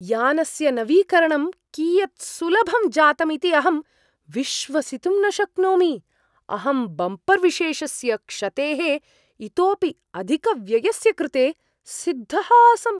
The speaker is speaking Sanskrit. यानस्य नवीकरणं कियत् सुलभं जातम् इति अहं विश्वसितुं न शक्नोमि, अहं बम्पर् विशेषस्य क्षतेः इतोपि अधिकव्ययस्य कृते सिद्धः आसम्।